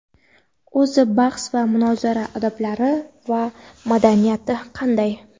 o‘zi bahs va munozara odoblari va madaniyati qanday?.